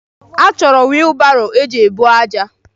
Achọrọ wiilibaro iji eburu ájá.